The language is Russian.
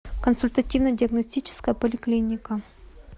консультативно диагностическая поликлиника